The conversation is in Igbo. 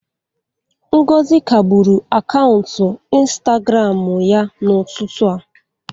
Ngozi kagburu akaụntụ Ịnstagramụ ya n'ụtụtụ a.